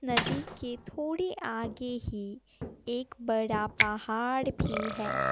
नदी के थोड़े आगे ही एक बड़ा पहाड़ भी है।